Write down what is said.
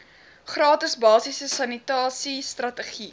gratis basiese sanitasiestrategie